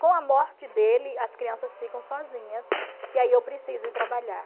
Com a morte dele, as crianças ficam sozinhas e aí eu preciso ir trabalhar.